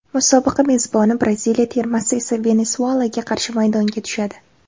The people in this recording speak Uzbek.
Musobaqa mezboni Braziliya termasi esa Venesuelaga qarshi maydonga tushadi.